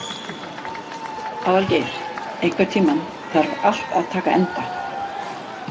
Aðalgeir, einhvern tímann þarf allt að taka enda.